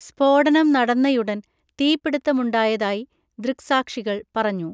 സ്‌ഫോടനം നടന്നയുടൻ തീപിടിത്തമുണ്ടായതായി ദൃക്‌സാക്ഷികൾ പറഞ്ഞു.